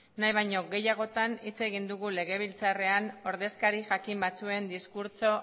nahi baino gehiagotan hitz egin dugu legebiltzarrean ordezkari jakin batzuen diskurtso